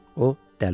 O dəli olur.